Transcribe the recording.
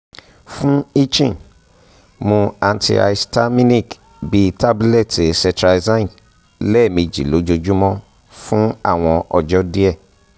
fun itching mu antihistaminic bi tabulẹti cetrizine lẹmeji lojoojumọ fun awọn ọjọ diẹ